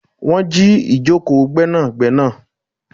Wọn jì ìkòkò Gbẹ́nàgbẹ́nà